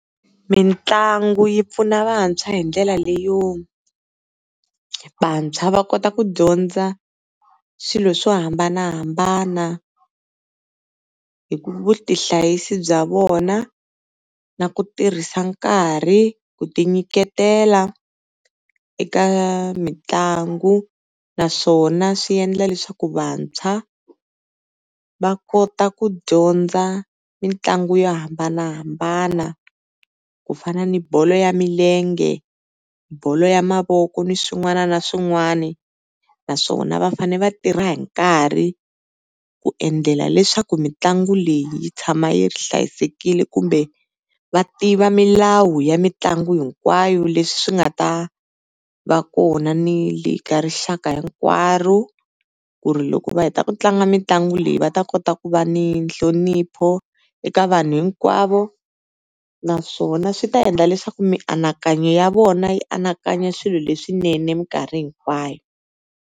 Mitlangu yi pfuna vantshwa hi ndlela leyo, vantshwa va kota ku dyondza swilo swo hambanahambana hi ku vutihlayisi bya vona na ku tirhisa nkarhi, ku ti nyiketela eka mitlangu naswona swi endla leswaku vantshwa va kota ku dyondza mitlangu yo hambanahambana ku fana ni bolo ya milenge, bolo ya mavoko ni swin'wana na swin'wana naswona va fane va tirha hi nkarhi ku endlela leswaku mitlangu leyi yi tshama yi hlayisekile kumbe va tiva milawu ya mitlangu hinkwayo leswi swi nga ta va kona ni le ka rixaka hinkwaro ku ri loko va heta ku tlanga mitlangu leyi va ta kota ku va ni nhlonipho eka vanhu hinkwavo naswona swi ta endla leswaku mianakanyo ya vona yi anakanya swilo leswinene minkarhi hinkwayo.